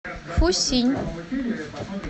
фусинь